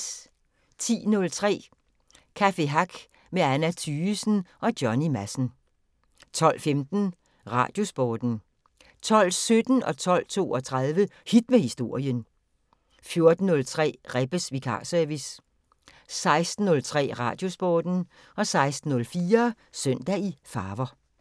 10:03: Café Hack med Anna Thygesen og Johnny Madsen 12:15: Radiosporten 12:17: Hit med Historien 12:32: Hit med Historien 14:03: Rebbes Vikarservice 16:03: Radiosporten 16:04: Søndag i farver